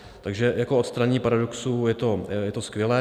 Takže jako odstranění paradoxů je to skvělé.